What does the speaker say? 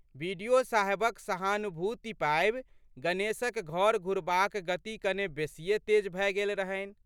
बि.डि.ओ.साहेबक सहानुभूति पाबि गणेशक घर घुरबाक गति कने बेशिये तेज भए गेल रहनि।